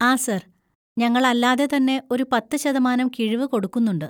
ആ സാർ, ഞങ്ങൾ അല്ലാതെ തന്നെ ഒരു പത്ത് ശതമാനം കിഴിവ് കൊടുക്കുന്നുണ്ട്.